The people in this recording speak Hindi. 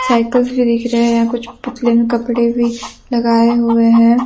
साइकिल्स भी दिख रहे हैं यहां कुछ पुतले में कपड़े भी लगाए हुए हैं।